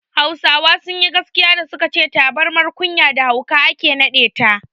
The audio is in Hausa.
Hausawa sunyi gaskiya da suka ce tabirmar kunya da hauka ake naɗe ta